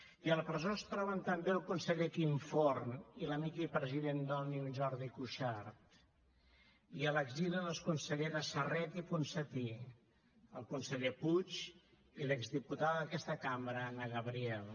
i a la presó es troben també el conseller quim forn i l’amic i president d’òmnium jordi cuixart i a l’exili les conselleres serret i ponsatí el conseller puig i l’exdiputada d’aquesta cambra anna gabriel